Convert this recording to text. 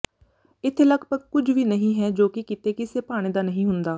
ਇੱਥੇ ਲਗਭਗ ਕੁਝ ਵੀ ਨਹੀਂ ਹੈ ਜੋ ਕਿ ਕਿਤੇ ਕਿਸੇ ਭਾਣੇ ਦਾ ਨਹੀਂ ਹੁੰਦਾ